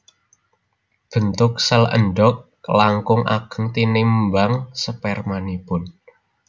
Bentuk sèl endhog langkung ageng tinimbang spermanipun